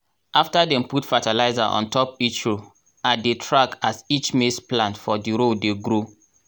after dem put fertilizer on top each row i dey track as each maize plant for di row dey grow.